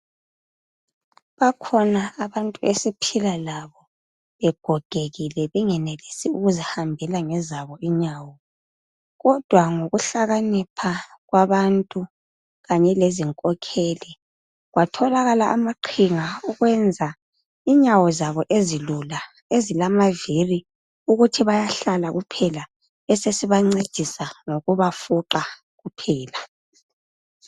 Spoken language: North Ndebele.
Bakhona abantu esiphila labo begogekile bengenelisi ukuzihambela ngezabo inyawo, kodwa ngokuhlakanipha kwabantu kanye lezinkokheli kwatholakala amaqhinga okwenza inyawo zabo ezilula ezilamaviri ukuthi bayahlala kuphela besesiba ncedisa ngokuba fuqa kuphela.